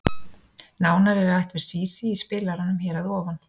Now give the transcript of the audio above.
Nánar er rætt við Sísí í spilaranum hér að ofan.